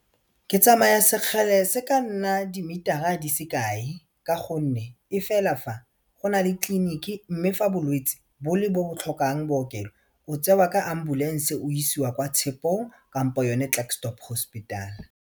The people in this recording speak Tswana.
Ke tsamaya sekgala se ka nna di meter-a di se kae ka gonne e fela fa go na le tleliniki mme fa bolwetse bole bo bo tlhokang bookelo o tsewa ka ambulance o isiwa kwa Tshekong kampo yone Klerksdorp hospital.